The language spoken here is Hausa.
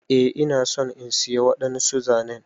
Eh ina so in siya wadansu zanen.